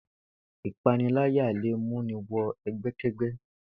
Ìpániláyà lè mú ni wo̩ e̩gbé̩ké̩gbé̩